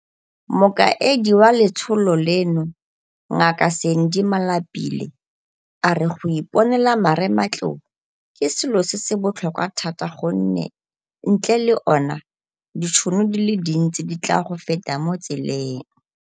Mokaedi wa letsholo leno, Ngaka Sandy Malapile, a re go iponela marematlou ke selo se se botlhokwa thata gonne ntle le ona, ditšhono di le dintsi di tla go feta mo tseleng.